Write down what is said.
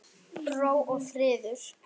Ró og friður.